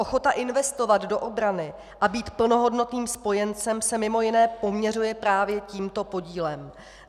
Ochota investovat do obrany a být plnohodnotným spojencem se mimo jiné poměřuje právě tímto podílem.